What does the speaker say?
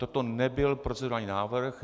Toto nebyl procedurální návrh.